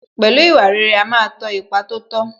Pẹ̀lú ìwà rere, ó ma ń tọ ipa tó tọ́